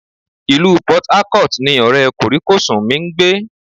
Ilu Port Harcourt ni ọ̀rẹ́ kòríkòsún mi ń gbé